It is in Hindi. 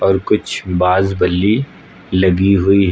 और कुछ बाज बलि लगी हुई है।